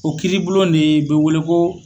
O kiiri bulon de ye be wele ko